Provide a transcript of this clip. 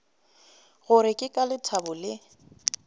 gore ke ka lethabo le